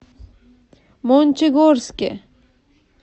мончегорске